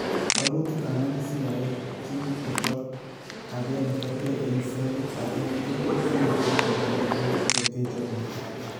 Walutik alak siyae ginit kochap age negergee eng' selit age tugul komachap amitwogik che teche borto.